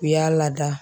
U y'a lada